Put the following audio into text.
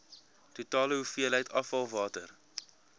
totale hoeveelheid afvalwater